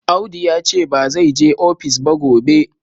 Audu ya ce ba zai je ofis ba gobe.